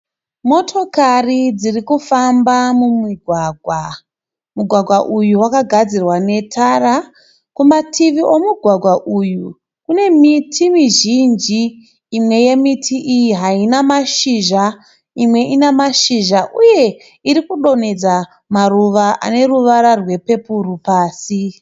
motokari dzirikufamba mumugwagwa, mugwagwa uyu wakagadzirwa netara, kumativi kwemugwagwa uyu kune miti izhinji, imwe yemiti iyi haina mashizha , imwe ina mashizha uye irikudonhedza maruva aneruvara rwepepuru pasi.